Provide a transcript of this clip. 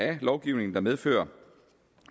af lovgivningen der medfører